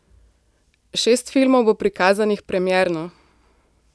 Šest filmov bo prikazanih premierno.